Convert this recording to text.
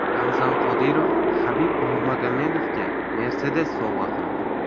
Ramzan Qodirov Habib Nurmagomedovga Mercedes sovg‘a qildi .